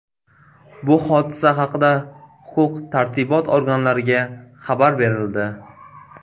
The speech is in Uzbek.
Bu hodisa haqida huquq-tartibot organlariga xabar berildi.